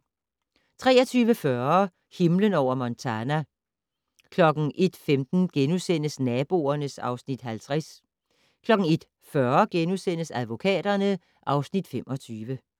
23:40: Himlen over Montana 01:15: Naboerne (Afs. 50)* 01:40: Advokaterne (Afs. 25)*